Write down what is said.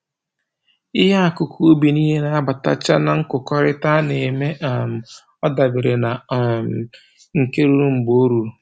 Ihe akụkụ ubi nile na-abatacha na nkụkọrịta a na-eme, um ọ dabere na um nke ruru mgbe o ruru